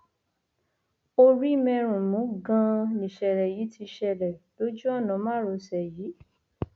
orímẹrùnmú ganan nìṣẹlẹ yìí ti ṣẹlẹ lójú ọnà márosẹ yìí